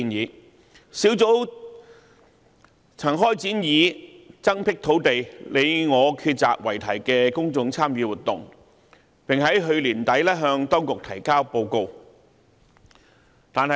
專責小組曾開展以"增闢土地，你我抉擇"為題的公眾參與活動，並於去年年底向當局提交報告。